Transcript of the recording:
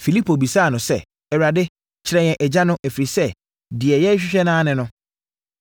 Filipo bisaa no sɛ, “Awurade, kyerɛ yɛn Agya no, ɛfiri sɛ, deɛ yɛrehwehwɛ ara ne no.”